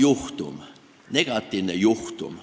See on negatiivne juhtum.